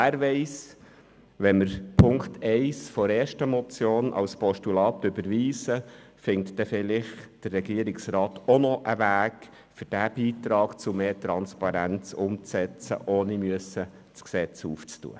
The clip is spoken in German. Wer weiss, wenn wir Punkt 1 der ersten Motion als Postulat überweisen, findet der Regierungsrat vielleicht auch noch einen Weg, diesen Beitrag zu mehr Transparenz ohne Gesetzesänderung umzusetzen.